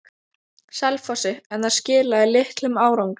Selfossi, en það skilaði litlum árangri.